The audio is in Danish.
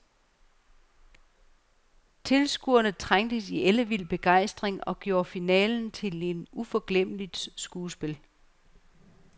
Tilskuerne trængtes i ellevild begejstring og gjorde finalen til et uforglemmeligt skuespil.